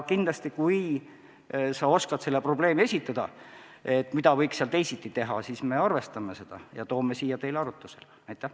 Kui sa oskad selle probleemi esitada ja pakud välja, mida võiks teisiti teha, siis me arvestame seda ja toome selle siia teile arutada.